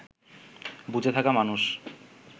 বুজে থাকা মানুষ